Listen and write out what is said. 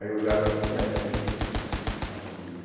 Aí olharam assim, é, é do erre gê dele, a rubrica.